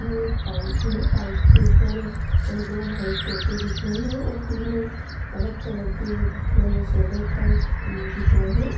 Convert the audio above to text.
यह एक पाइप है पाइप के ऊपर दो भाइट तोते दिख रहे है और तीन अलग कलर के थोड़े सेडेड टाइप दिख रहे है।